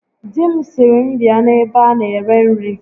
Di m sịrị m bịa n'ebe a na-ere nri